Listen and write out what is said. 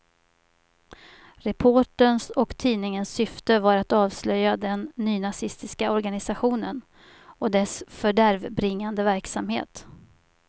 Reporterns och tidningens syfte var att avslöja den nynazistiska organisationen och dess fördärvbringande verksamhet.